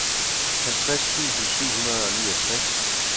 halvtreds tusind syv hundrede og niogtres